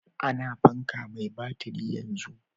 A na fanka mai batiri yanzu